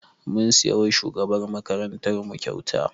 Mun siya wa shugabar makarantar mu kyauta